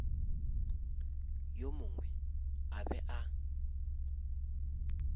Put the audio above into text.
yo mongwe a be a